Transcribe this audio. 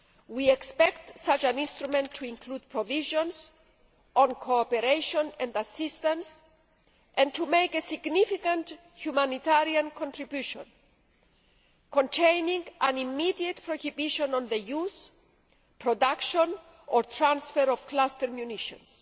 We expect such an instrument to include provisions on cooperation and assistance and to make a significant humanitarian contribution, containing an immediate prohibition on the use, production or transfer of cluster munitions.